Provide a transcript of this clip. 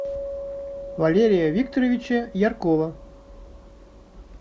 валерия викторовича яркова